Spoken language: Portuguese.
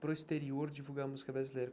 para o exterior divulgar a música brasileira.